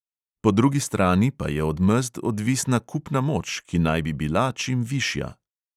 Po drugi strani pa je od mezd odvisna kupna moč, ki naj bi bila čim višja.